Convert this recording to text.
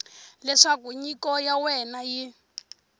leswaku nyiko ya wena yi